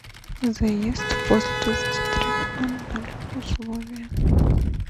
заезд после двадцати трех ноль ноль условия